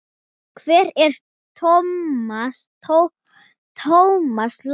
Hvar er Thomas Lang?